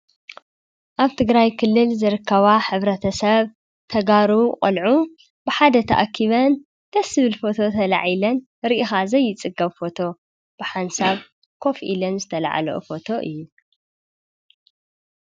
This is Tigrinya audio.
አብ ትግራይ ክልል ዝርከባ ሕብረተ ሰብ ተጋሩ ቆልዑ ብሓደ ተአኪበን፣ ደስ ዝብል ፈቶ ተላዒለን፣ ርኢካ ዘይፅገብ ፈቶ ብሓንሳብ ኮፍ ኢለን ዝተለዓለኦ ፈቶ እዩ።